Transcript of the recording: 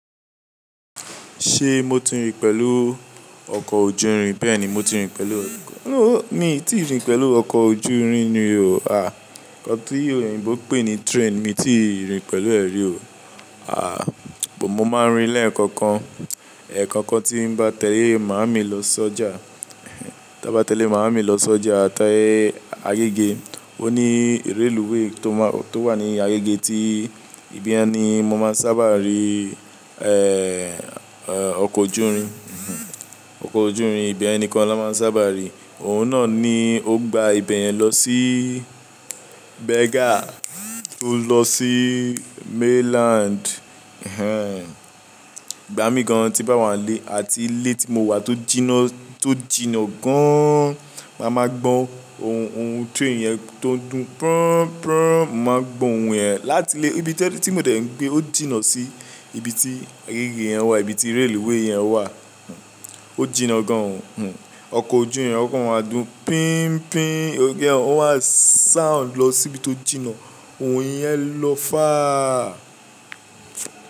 Ṣe mo ti rìn pẹ̀lú ọkọ ojú irin? Bẹ́ẹ̀ni mo ti rìn pẹ̀lú, nooo mi ti rìn pẹ̀lú ọkọ ojú irin ni o. A, nkán tí òyìnbó pè ní train mi ti rìn pẹ̀lú ẹ̀ rí o. A, mo máa ń rí lẹ́ẹ̀kọ̀kan. Ẹ̀ẹ̀kọ̀kan tí ń bá tẹ́lé màámi lọ sọ́jà, ta bá tẹ́lẹ̀ màámi lọ sọ́jà, tii ayége. Ó ní railway tó wà ní ayége tí ibi yẹ́n ni mo máa ń sábà rí, ẹ, ọkọ ojú irin. Ọkọ ojú irin ìbẹ́yen nìkan la máa ń sábà rí. Òun náà ni ó gba ibẹ̀yẹn lọ sí Berger tó lọ sí mainland. Ẹ̀h ẹ́n, ìgbà mí gan tí bá wà lé àti ilé tí mo wà tó jìnnà, tó jìnnà gan an, má má gbọ́ ohun train yẹn tó ń dún mo màá ń gbọ́ ohun yẹn láti ilé tí mo dẹ̀ ń gbé ó jìnnà sí ibi tí ayége yẹn wà, ibi tí railway yẹn wà. Ó jìnnà gan an, ọkọ ojú irin ọkọ máa ń dún pín pín ó maá sound lọ síbi tó jìnnà, ohun yẹn ń lọ fáà.